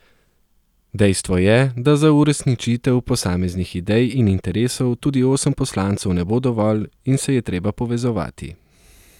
Dejstvo je, da za uresničitev posameznih idej in interesov tudi osem poslancev ne bo dovolj in se je treba povezovati.